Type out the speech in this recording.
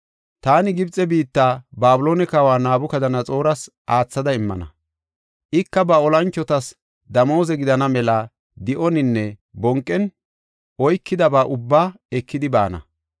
‘Taani Gibxe biitta Babiloone kawa Nabukadanaxooras aathada immana; ika ba olanchotas damooze gidana mela di7oninne bonqen oykidaba ubbaa ekidi baana.